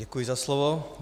Děkuji za slovo.